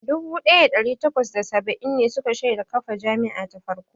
Dubu ɗaya da ɗari takwas da saba'in ne suka shaida kafa jami'a ta farko.